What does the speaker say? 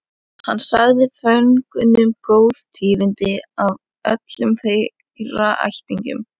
Hann sagði föngunum góð tíðindi af öllum þeirra ættingjum.